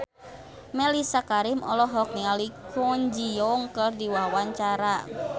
Mellisa Karim olohok ningali Kwon Ji Yong keur diwawancara